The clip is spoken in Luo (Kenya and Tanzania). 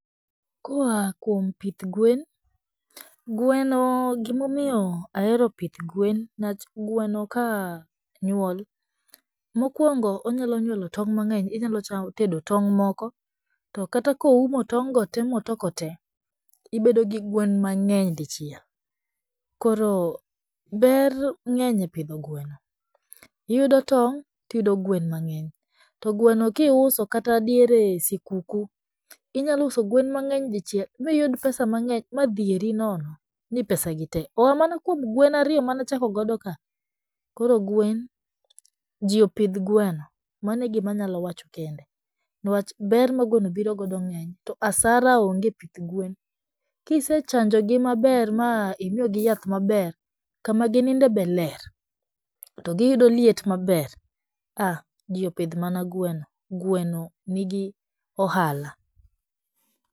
Koa kuom pith gwen, gweno gimomiyo ahero pith gwen newach gweno ka nyuol mokwongo onyalo nyuolo tong' mang'eny inyalo cha tedo tong' moko, to kata koumo tong' gote motoko tee ibedo gi gwen mang'eny dichiel . Koro ber ng'eny e pidho gweno iyudo tong' tiyudo gwen mang'eny to gweno kiuso kata diere sikuku inya uso gwen mang'eny dochiel miyud pesa mang'eny madhieri nono ni pesa gi tee oa mana kuom gwen mana chako godo ka? .Koro gwen ,jopidh gweno mano e gima nyalo wacho kende newach ma gweno gbiro godo kisechanjo gi maber mimiyo gi yath maber kama gininde be ler to giyudo liet maber a jii opidh mana gweno gweno nigi ohala.